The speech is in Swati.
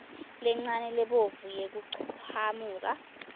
lencane lebovu yekuchamuka